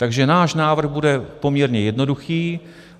Takže náš návrh bude poměrně jednoduchý.